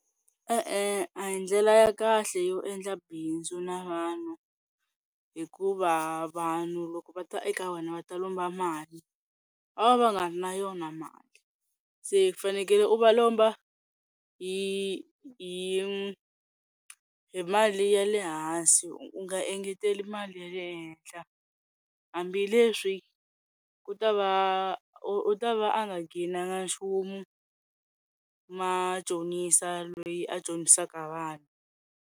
E-e a hi ndlela ya kahle yo endla bindzu na vanhu hikuva vanhu loko va ta eka wena va ta lomba mali va va va nga ri na yona mali se fanekele u va lomba hi hi hi mali ya le hansi u nga engeteli mali ya le henhla hambileswi ku ta va u ta va a nga gain-nanga nchumu machonisa loyi a chonisaka vanhu.